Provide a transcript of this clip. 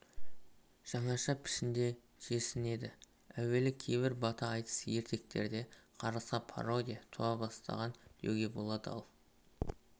жаңаша пішінде жерсінеді әуелі кейбір бата айтыс ертектерде қарғысқа пародия туа бастаған деуге болады ал